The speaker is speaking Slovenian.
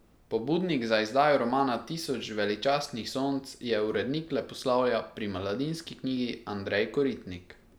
Pobudnik za izdajo romana Tisoč veličastnih sonc je urednik leposlovja pri Mladinski knjigi Andrej Koritnik.